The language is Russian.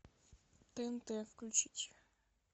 тнт включить